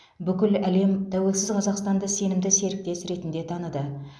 бүкіл әлем тәуелсіз қазақстанды сенімді серіктес ретінде таныды